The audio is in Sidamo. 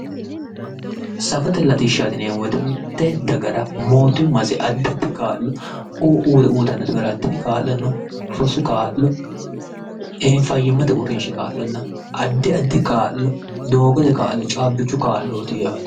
safote latishshaati yineemmo wote mitte dagara mootimmase addi addi kaa'lo uyiitannose garaati tini kaa'lono rosu kaa'lo fayyimmate uurrinshi kaa'lo addiaddi kaa'lo doogote kaa'lo caabbichu kaa'looti yaate.